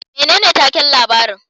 Menene takin labarin